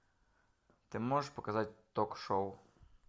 ты можешь показать ток шоу